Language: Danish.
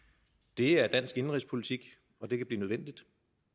det er dansk indenrigspolitik og det kan blive nødvendigt